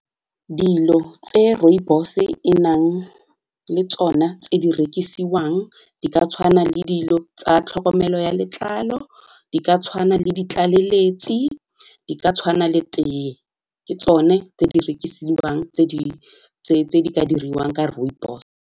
Dilo tse rooibos-e e nang le tsona tse di rekisiwang di ka tshwana le dilo tsa tlhokomelo ya letlalo, di ka tshwana le ditlaleletsi, di ka tshwana le teye ke tsone tse di rekisiwang tse di ka diriwang ka rooibos.